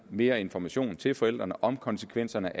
mere information til forældrene om konsekvenserne